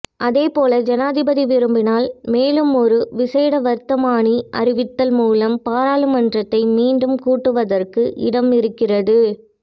அதே போல ஜனாதிபதி விரும்பினால் மேலுமொரு விசேட வர்த்தமானி அறிவித்தல் மூலம் பாராளுமன்றத்தை மீண்டும் கூட்டுவதத்கு இடமிருக்கிறது